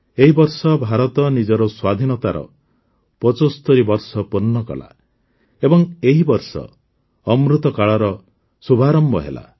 ଏହି ବର୍ଷ ଭାରତ ନିଜର ସ୍ୱାଧୀନତାର ୭୫ ବର୍ଷ ପୂର୍ଣ୍ଣ କଲା ଏବଂ ଏହି ବର୍ଷ ଅମୃତକାଳର ଶୁଭାରମ୍ଭ ହେଲା